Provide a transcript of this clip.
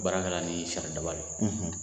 Baara kɛ la ni sari daba de ye.